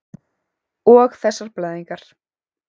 Og þessar blæðingar.